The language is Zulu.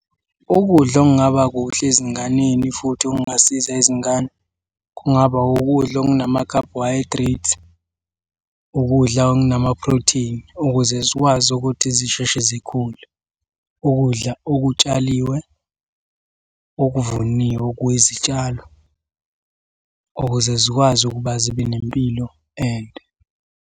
Ukudla okungaba kuhle ezinganeni futhi okungasiza izingane kungaba ukudla okunama-carbohydrates, ukudla okunama-protein, ukuze zikwazi ukuthi zisheshe zikhule. Ukudla okutshaliwe okuvuniwe okuyizitshalo, ukuze zikwazi ukuba zibe nempilo ende.